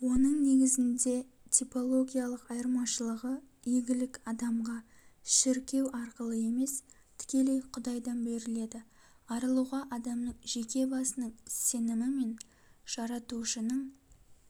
оның негізінде типологиялық айырмашылығы игілік адамға шіркеу арқылы емес тікелей құдайдан беріледі арылуға адамның жеке басының сенімі мен жаратушының